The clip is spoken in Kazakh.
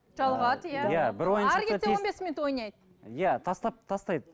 жалығады иә он бес минут ойнайды иә тастап тастайды